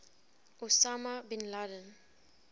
osama bin laden